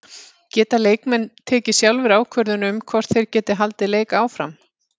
Geta leikmenn tekið sjálfir ákvörðun um hvort þeir geti haldið leik áfram?